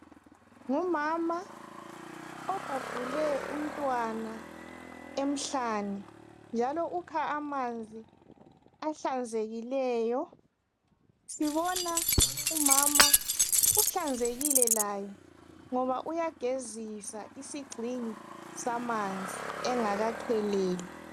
Ngumama obhabhule umntwana emhlane njalo ukha amanzi ahlanzekileyo, sibona umama uhlanzekile laye ngoba uyagezisa isigxingi samanzi engakakheleli.